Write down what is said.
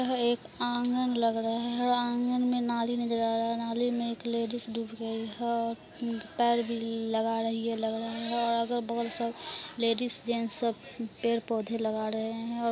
यह एक आँगन लग रहे है आँगन में नाली में नजर आ रहा है नाली में एक लेडीज डूब गयी है और पेड़ भी लगा रही है लग रहा है और अगल बगल सब लेडीज जेट्स सब पेड़ पौधे लगा रहे है। और--